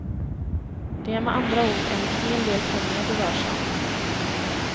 Det är med andra ord en hel del pengar det rör sig om.